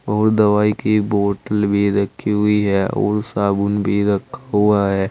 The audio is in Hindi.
और दवाई की बोटल भी रखी हुई है और साबुन भी रखा हुआ है।